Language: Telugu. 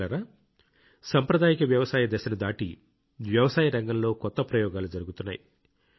మిత్రులారా సాంప్రదాయిక వ్యవసాయ దశను దాటి వ్యవసాయం రంగంలో కొత్త ప్రయోగాలు జరుగుతున్నాయి